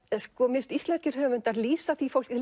mér finnst íslenskir höfundar lýsa því fólki